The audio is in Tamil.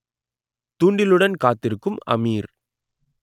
தூண்டிலுடன் காத்திருக்கும் அமீர்